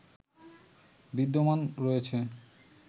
বিদ্যমান রয়েছ